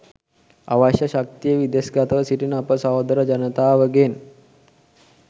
අවශ්‍ය ශක්තිය විදෙස් ගතව සිටින අප සහෝදර ජනතාවගෙන්